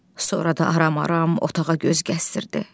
Sonra da aram-aram otağa göz gəzdirdi.